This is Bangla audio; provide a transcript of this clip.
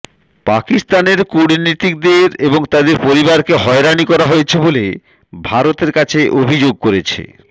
পাকিস্তানের কূটনীতিকদের এবং তাদের পরিবারকে হয়রানি করা হয়েছে বলে ভারতের কাছে অভিযোগ করেছে